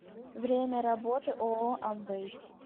время работы ооо амвэй